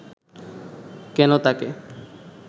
কেন তাকে